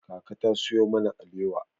Kaka ta sayo mana alewa.